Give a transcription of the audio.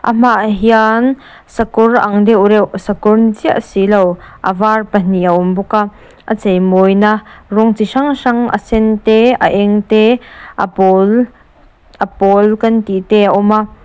a hmaah hian sakawr ang deuh reuh sakawr ni chiah si lo a var pahnih a awm bawk a lp a cheimawina rawng chi hrang hrang a sen te a eng te a pawl a pawl kan tihte a awm a.